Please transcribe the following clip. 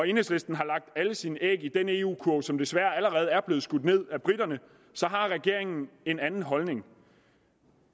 enhedslisten har lagt alle sine æg i den eu kurv som desværre allerede er blevet skudt ned af briterne har regeringen en anden holdning